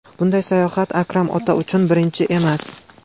Bunday sayohat Akram ota uchun birinchisi emas.